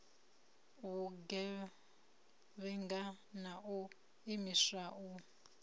vhugevhenga na u imiswa u